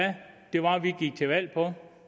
jeg